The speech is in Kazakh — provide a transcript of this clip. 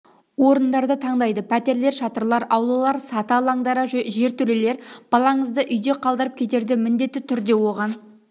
орындарды таңдайды пәтерлер шатырлар аулалар саты алаңдары жертөлелер балаңызды үйде қалдырып кетерде міндетті түрде оған